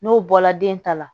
N'o bɔla den ta la